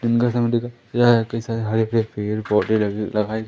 यह हरे पेड़ पौधे लगे लगाए--